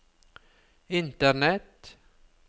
internett